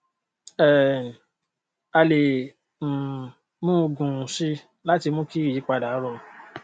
um a lè um mú un gùn sí i láti mú kí ìyípadà rọrùn